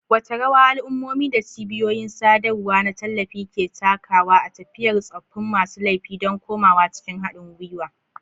Wace rawa al'ummomi da cibiyoyin sadarwa na tallafi ke takawa a tafiyar tsoffin masu laifi don komawa cikin haɗin gwiwa?